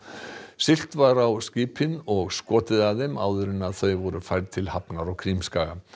siglt var á skipin og skotið að þeim áður en þau voru færð til hafnar á Krímskaga